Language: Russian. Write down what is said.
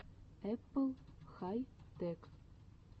эппл хай тэк